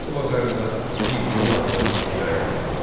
Şamaxı bazarında bir gün adlı hekayə qur.